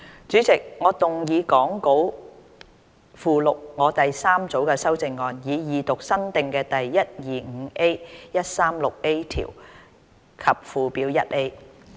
主席，我動議講稿附錄我的第三組修正案，以二讀新訂的第 125A、136A 條及附表 1A。